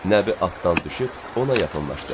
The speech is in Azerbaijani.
Nəbi atdan düşüb ona yaxınlaşdı.